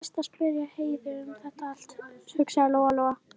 Best að spyrja Heiðu um þetta allt, hugsaði Lóa Lóa.